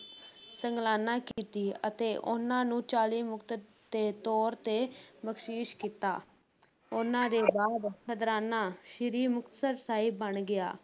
ਸਗਲਾਨਾ ਕੀਤੀ ਅਤੇ ਉਨ੍ਹਾਂ ਨੂੰ ਚਾਲੀ ਮੁਕਤ ਦੇ ਤੌਰ ਤੇ ਬਖਸ਼ਿਸ਼ ਕੀਤਾ ਉਨ੍ਹਾਂ ਦੇ ਬਾਅਦ ਖਦਰਾਣਾ ਸ੍ਰੀ ਮੁਕਤਸਰ ਸਾਹਿਬ ਬਣ ਗਿਆ।